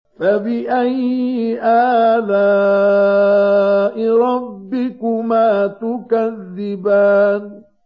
فَبِأَيِّ آلَاءِ رَبِّكُمَا تُكَذِّبَانِ